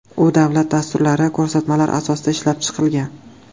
U davlat dasturlari, ko‘rsatmalar asosida ishlab chiqilgan.